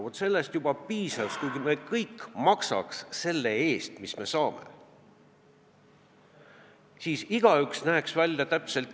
Vaat sellest juba piisaks, kui me kõik maksaks selle eest, mis me saame.